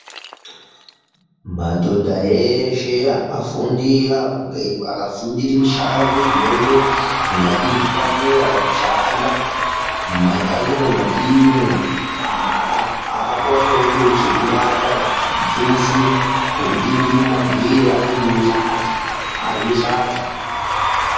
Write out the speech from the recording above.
Madhodha eshe akafundira apo, akafundira mishando ingade zvipanera pakushanda mumakanyimwo metiri umwo aah, akonewo kuone chekubata kana kamuthuso kekutengewo magwere atengewo sadza, arye sadza.